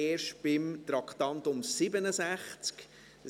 Denn er betrifft erst das Traktandum 67.